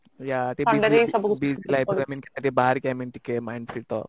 ଥଣ୍ଡା ରେ ହିଁ ସବୁକିଛି